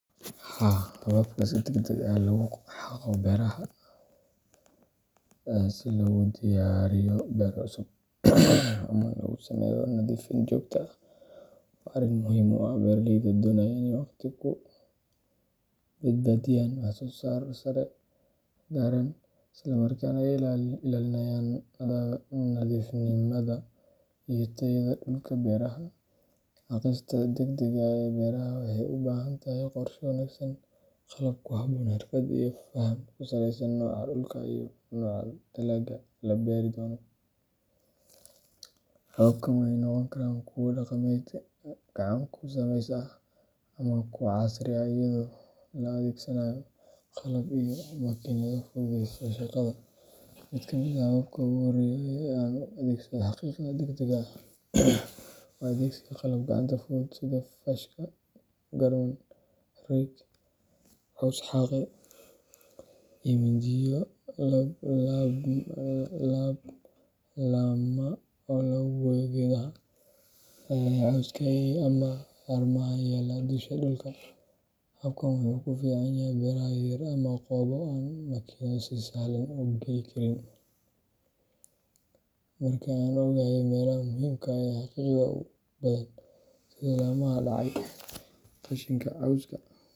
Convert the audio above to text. Haa hababka si degdeg ah loogu xaaqo beeraha si loogu diyaariyo beero cusub ama loogu sameeyo nadiifin joogto ah waa arrin muhiim u ah beeraleyda doonaya inay waqti ku badbaadiyaan, wax-soo-saar sare gaaraan, isla markaana ay ilaalinayaan nadiifnimada iyo tayada dhulka beeraha. Xaaqista degdegga ah ee beeraha waxay u baahan tahay qorshe wanaagsan, qalab ku habboon, xirfad iyo faham ku saleysan nooca dhulka iyo nooca dalagga la beeri doono. Hababkan waxay noqon karaan kuwo dhaqameed gacan ku sameys ah ama kuwo casri ah iyadoo la adeegsanayo qalab iyo makiinado fududeeya shaqada. Mid ka mid ah hababka ugu horreeya ee aan u adeegsado xaaqidda degdegga ah waa adeegsiga qalab gacanta fudud sida faashka, garmaan rake, caws-xaaqe, iyo mindiyo laab laabma oo lagu gooyo geedaha, cawska, ama haramaha yaalla dusha dhulka. Habkan wuxuu ku fiican yahay beeraha yaryar ama goobo aan makiinado si sahlan u geli karin. Marka aan ogahay meelaha muhiimka ah ee xaaqidda u baahan sida laamaha dhacay, qashinka cawska.